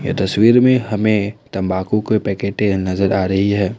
ये तस्वीर में हमें तंबाकू के पैकेटें नजर आ रही है।